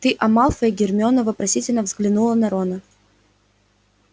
ты о малфое гермиона вопросительно взглянула на рона